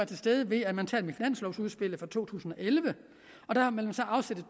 til stede ved at man tager dem i finanslovudspillet for to tusind og elleve og der har man så afsat to